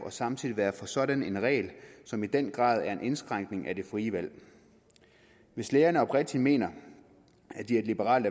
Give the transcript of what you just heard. og samtidig være for sådan en regel som i den grad er en indskrænkning af det frie valg hvis lægerne oprigtigt mener at de er liberale